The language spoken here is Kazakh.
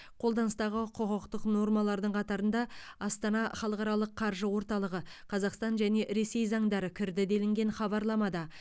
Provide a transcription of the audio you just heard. қолданыстағы құқықтық нормалардың қатарында астана халықаралық қаржы орталығы қазақстан және ресей заңдары кірді делінген хабарламада